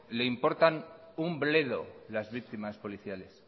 les importan un bledo las víctimas policiales